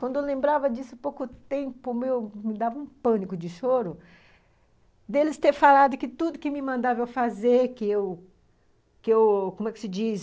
Quando eu lembrava disso há pouco tempo, me dava um pânico de choro deles terem falado que tudo que me mandaram eu fazer, que eu, que eu, como é que se diz,